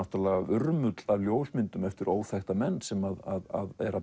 urmull af ljósmyndum eftir óþekkta menn sem